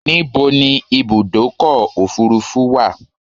Níbo ni Ibùdọ́kọ̀ òfurufú wa?